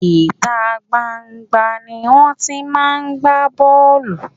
Ìta gban-an gban-an ni wón ti máa ń gbá bọ́ọ̀lù.